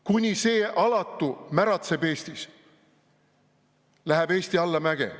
Kuni see alatu märatseb Eestis, läheb Eesti allamäge.